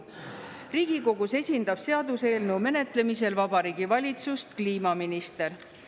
Riigikogus esindab seaduseelnõu menetlemisel Vabariigi Valitsust kliimaminister.